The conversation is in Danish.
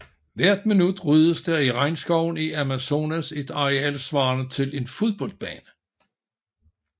Hvert minut ryddes der i regnskoven i Amazonas et areal svarende til en fodboldbane